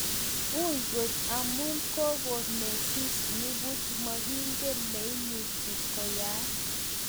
Ui kot amun kogo netis nipuch mokingen ne neimuche koyai.